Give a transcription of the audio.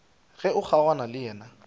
ge o kgaogana le yena